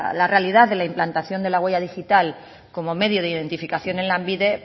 la realidad de la implantación de la huella digital como medio de identificación en lanbide